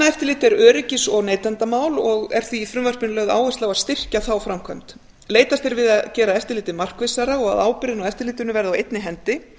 efnaeftirlit er öryggis og neytendamál og er því í frumvarpinu lögð áhersla á að styrkja þá framkvæmd leitast er við að gera eftirlitið markvissara og að ábyrgðin á eftirlitinu verði á einni hendi